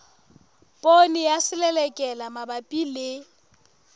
poone ya selelekela mabapi le